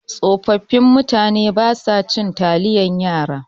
Tsofaffin mutane basa cin taliyan yara.